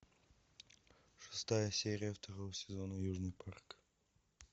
шестая серия второго сезона южный парк